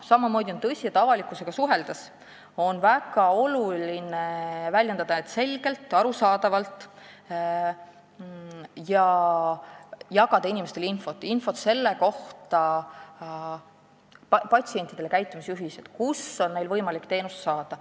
Samamoodi on tõsi, et avalikkusega suheldes on väga oluline väljendada end selgelt ja arusaadavalt ning jagada inimestele, patsientidele infot ja käitumisjuhised, kust neil on võimalik teenust saada.